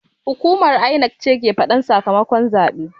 Hukumar INEC ce ke faɗan sakamakon zaɓe